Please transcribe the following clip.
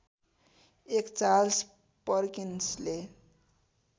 एक चार्ल्स पर्किन्सले